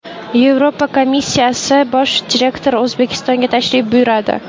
Yevropa komissiyasi bosh direktori O‘zbekistonga tashrif buyuradi.